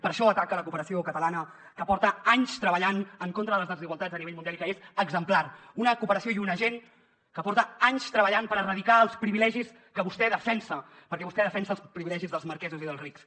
per això ataca la cooperació catalana que porta anys treballant en contra de les desigualtats a nivell mundial i que és exemplar una cooperació i una gent que porta anys treballant per erradicar els privilegis que vostè defensa perquè vostè defensa els privilegis dels marquesos i dels rics